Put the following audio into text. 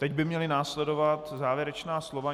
Teď by měla následovat závěrečná slova.